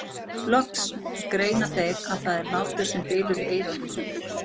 Loks greina þeir að það er hlátur sem bylur í eyrunum.